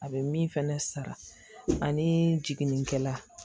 A bɛ min fɛnɛ sara ani jigininkɛla